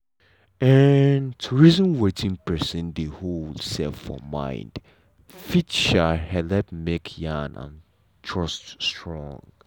um to reason wetin persin dey hold um for mind fit um helep make yarn and trust strong.